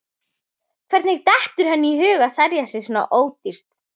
Hvernig dettur henni í hug að selja sig svona ódýrt?